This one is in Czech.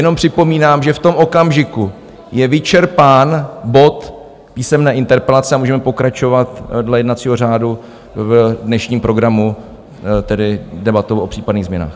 Jenom připomínám, že v tom okamžiku je vyčerpán bod Písemné interpelace a můžeme pokračovat dle jednacího řádu v dnešním programu, tedy debatou o případných změnách.